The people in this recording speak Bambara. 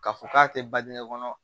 K'a fɔ k'a tɛ badinɛ kɔnɔ